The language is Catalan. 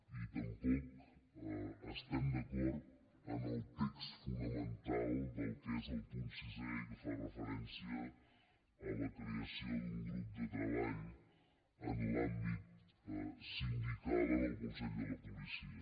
i tampoc estem d’acord amb el text fonamental del que és el punt sisè i que fa referència a la creació d’un grup de treball en l’àmbit sindical en el consell de la policia